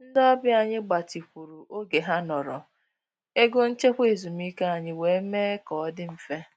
Ndị ọbịa anyị gbatịkwuru oge ha nọrọ, ego nchekwa ezumike anyị wee mee ka ọ dị mfe